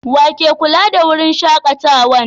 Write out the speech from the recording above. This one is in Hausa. Wa ke kulla da wurin shakatawan?